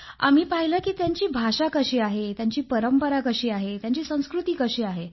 आम्ही पाहिलं की त्यांची भाषा कशी आहे त्यांची परंपरा कशी आहे त्यांची संस्कृती कशी आहे